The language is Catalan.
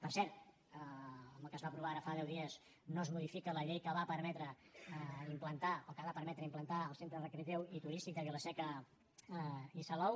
per cert amb el que es va aprovar ara fa deu dies no es modifica la llei que va permetre implantar o que ha de permetre implantar el centre recreatiu i turístic de vila seca i salou